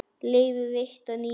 Leyfi veitt að nýju